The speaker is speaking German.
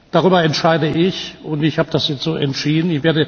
Darüber entscheide ich, und ich habe das jetzt so entschieden.